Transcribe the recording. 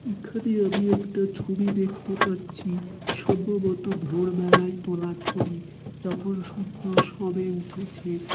এখানে আমি একটা ছুবি দেখতে পারছি সম্ভবতো ভোর বেলায় তোলা ছবি যখন সূর্য সবে উঠেছে।